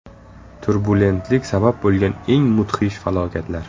Turbulentlik sabab bo‘lgan eng mudhish falokatlar .